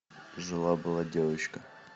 жила была девочка